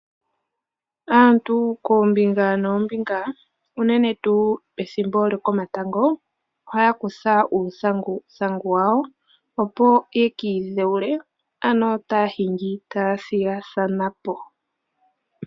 Aantu koombinga noombinga unene tuu ethimbo lyo komatango ohaya kutha uuthanguthangu yawo opo yeki idhewule ano taya hingi taya thigathanapo